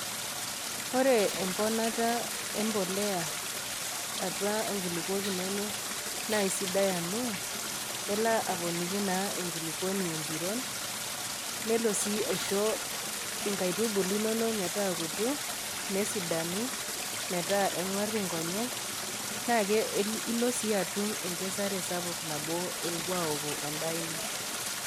Ore emponata embolea atua inkulukuok inono, naa aisidai amu, elo aponiki naa enkulukuoni naa empiron, nelo sii aisho inkaitubulu inono metaakutu, nesidanu, metaa eng'war inkonyek, naa ilo sii atum enkesare sapuk nabo elo aoku endaa ino.